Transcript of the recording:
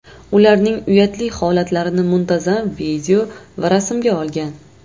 ularning uyatli holatlarini muntazam video va rasmga olgan.